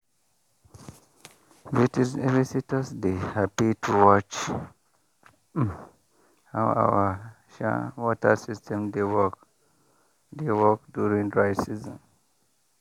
visitors dey happy to watch um how our um water system dey work dey work during dry season.